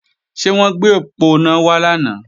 Ṣé wọ́n gbé òponá wá lánàá?